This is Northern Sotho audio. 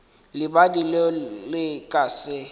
lebadi leo le ka se